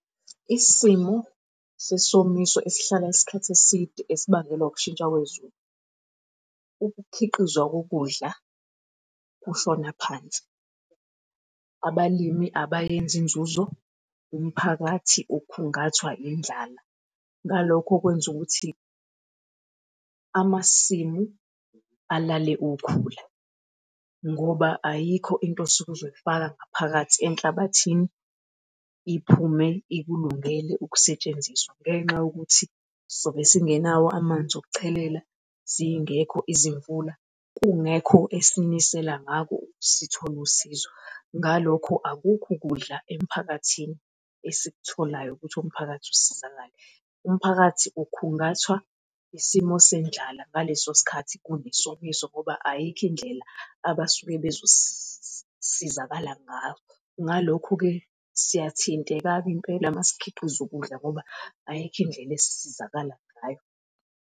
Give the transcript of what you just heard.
Isimo sesomiso esihlala isikhathi eside esibangelwa ukushintsha kwezulu. Ukukhiqizwa kokudla kushona phansi, abalimi abayenzi inzuzo, umphakathi ukhungathwa indlala. Ngalokho kwenza ukuthi amasimu alale ukhula ngoba ayikho into osuke uzoyifaka ngaphakathi enhlabathini iphume ikulungele ukusetshenziswa, ngenxa yokuthi sobe singenawo amanzi okuchelela zingekho izimvula kungekho esinisela ngako sithole usizo. Ngalokho akukho ukudla emphakathini esikutholayo ukuthi umphakathi usizakale. Umphakathi ukhungaphathwa isimo sendlala ngaleso sikhathi kunesomiso ngoba ayikho indlela abasuke bezosizakala ngayo. Ngalokho-ke siyathinteka-ke impela masikhiqiza ukudla ngoba ayikho indlela esisizakala ngayo.